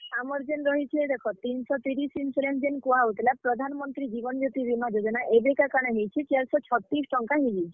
ଆମର୍ ଜେନ୍ ରହିଛେ ଦେଖ ତିନ୍ ଶ ତିରିଶ୍ insurance ଜେନ୍ କୁହା ହଉଥିଲା, ପ୍ରାଧାନ୍ ମନ୍ତ୍ରୀ ଜୀବନ୍ ଜ୍ୟୋତି ବୀମା ଯୋଜନା, ଏବେକା କାଣା ହେଇଛେ, ଚେର୍ ଶ ଛତିଶ୍ ଟଙ୍କା ହେଇଯେଇଛେ।